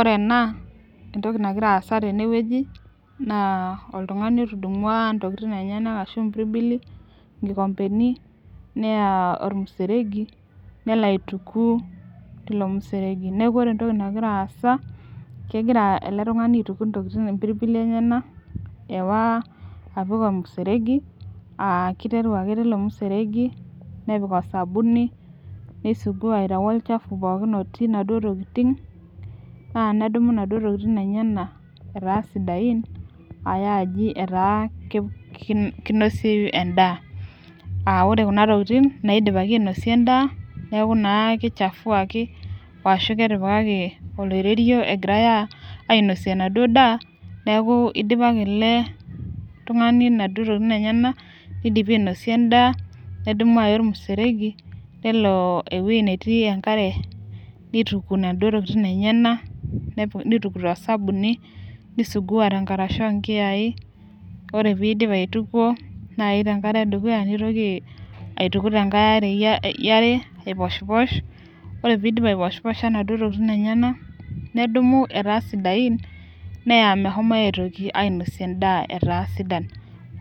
Ore ena entoki nagira aasa tene wueji naa oltungani otudumus ntokitin lenyenak, ashu impirbili, inkikompeni neya olmuseregi, nelo aituku teilo museregi neeku ore entoki nagira aasa kegira ele tungani aituku impirbili enye ka, ewaa apik olmuseregi aa kiteru ake teilo museregi, nepik osabuni. neisugua aitau olchafu pookin otii inaduoo tokitin. naa nedumu inaduoo tokitin enye ka etaa sidain aya aji etaa kinosieyu edaa ore Kuna tokitin, naidipaki ainosie edaa. neekh naa kichafuaki. Ashu ketipikaki oliterio egirae ainosie inaduoo daa neeku idipa ake ele tungani, inaduoo tokitin lenyenak. neinosie edaa, nedumu aya ormuseregi. nelo ewueji netii enkare, nituku inaduoo tokitin lenyenak. nituku tosabuni. nisugua te nkarasha oo nkiyai. ore pee idipi aitukuo. naaji tenkare edukuya. nitoki aituku aiposhiposh. ore pee idipi aipishiposha inaduoo tokitin enyenak nedumu etaa sidain. neya meshomoe aitoki ainosie edaa. etaa sidan,